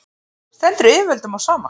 stendur yfirvöldum á sama